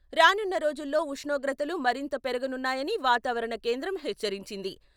రానున్న రోజుల్లో ఉష్ణోగ్రతలు మరింత పెరగనున్నాయని వాతావరణ కేంద్రం హెచ్చరించింది.